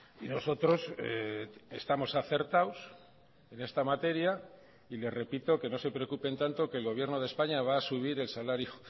y nosotros estamos acertados en esta materia y le repito que no se preocupen tanto que el gobierno de españa va a subir el salario